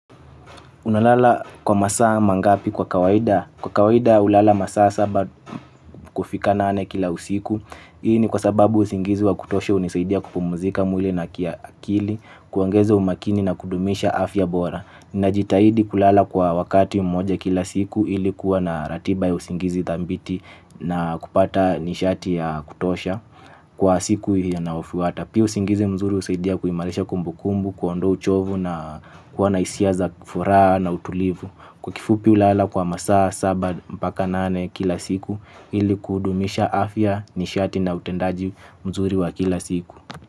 Unalala kwa masaa mangapi kwa kawaida. Kwa kawaida ulala masaa saba kufika nane kila usiku. Hii ni kwa sababu usingizi wa kutosha unisaidia kupumuzika mwili na kiakili, kuongeza umakini na kudumisha afya bora. Najitaidi kulala kwa wakati mmoja kila siku ili kuwa na ratiba ya usingizi thambiti na kupata nishati ya kutosha. Kwa siku hiyo naofwata pia usingizi mzuri husaidia kuhimarisha kumbukumbu kuondoa uchovu na kuwa na isia za furaha na utulivu. Kwa kifupi ulala kwa masa saba mpaka nane kila siku. Ili kuudumisha afya nishati na utendaji mzuri wa kila siku.